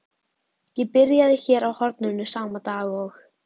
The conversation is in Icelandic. Ég byrjaði hér á horninu sama dag og